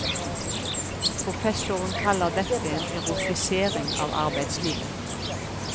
Professoren kaller dette en erotisering av arbeidslivet.